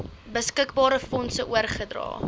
beskikbare fondse oorgedra